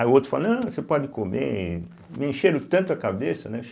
Aí o outro falou, não, você pode comer, me encheram tanto a cabeça, né?